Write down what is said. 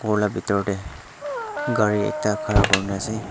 khor la bitor tae gari ekta khara kurina ase.